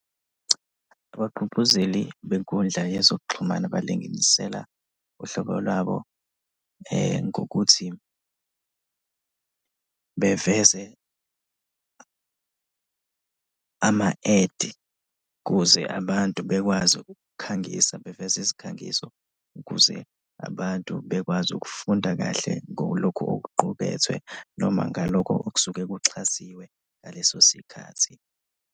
Abagqugquzeli benkundla yezokuxhumana balinginisela uhlobo lwabo ngokuthi beveze ama-ad kuze abantu bekwazi ukukukhangisa, beveze izikhangiso ukuze abantu bekwazi ukufunda kahle ngolokhu okuqukethwe noma ngalokho okusuke kuxhasiwe ngaleso sikhathi.